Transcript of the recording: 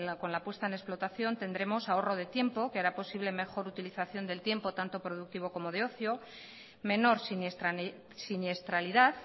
con la puesta en la explotación tendremos ahorro de tiempo que hará posible mejor utilización del tiempo tanto productivo como de ocio menor siniestralidad